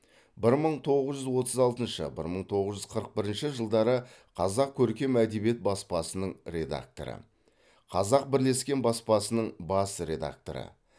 бір мың тоғыз жүз отыз алтыншы бір мың тоғыз жүз қырық бірінші жылдары қазақ көркем әдебиет баспасының редакторы қазақ бірлескен баспасының бас редакторы